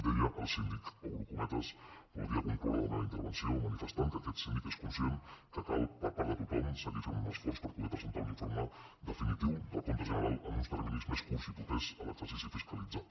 deia el síndic obro cometes podria concloure la meva intervenció manifestant que aquest síndic és conscient que cal per part de tothom seguir fent un esforç per poder presentar un informe definitiu del compte general en uns terminis més curts i propers a l’exercici fiscalitzat